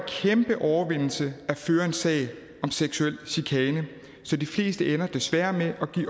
kæmpe overvindelse at føre en sag om seksuel chikane så de fleste ender desværre med at give